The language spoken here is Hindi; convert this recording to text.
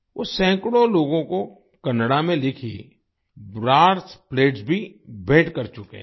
वो सैकड़ों लोगों को कन्नड़ा में लिखी ब्रास प्लेट्स भी भेंट कर चुके हैं